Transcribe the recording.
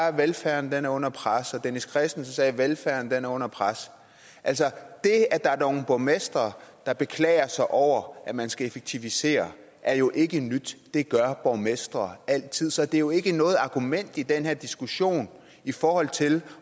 at velfærden var under pres og dennis kristensen sagde også at velfærden var under pres altså det at der er nogle borgmestre der beklager sig over at man skal effektivisere er jo ikke nyt det gør borgmestre altid så det er jo ikke noget argument i den her diskussion i forhold til